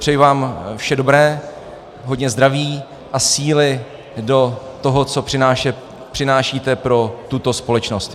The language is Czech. Přeji vám vše dobré, hodně zdraví a síly do toho, co přinášíte pro tuto společnost.